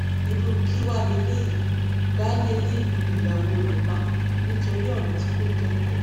irú kí wàá lélẹyìí baálé ilé yìí lu ìyàwó rẹ pa nítorí ọrọ tí kò tó nǹkan